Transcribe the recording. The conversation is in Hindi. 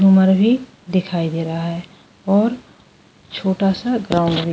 उमर भी दिखाई दे रहा है और छोटा सा गांव --